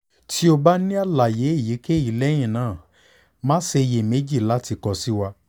ti o ba ni alaye eyikeyi lẹhinna ma ṣe iyemeji lati kọ si wa